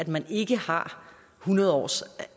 man ikke har hundrede års